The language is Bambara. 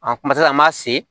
kumasala an m'a se